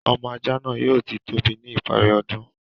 Ọmọ ajá náà yóò ti tóbi ní ìparí ọdún.